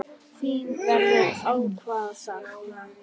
Þín verður ákaft saknað.